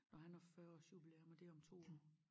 Når han har 40 års jubilæum og det om 2 år